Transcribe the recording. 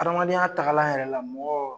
Adamadenya tagalan yɛrɛ la mɔgɔ